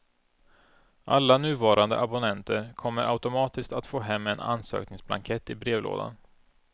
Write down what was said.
Alla nuvarande abonnenter kommer automatiskt att få hem en ansökningsblankett i brevlådan.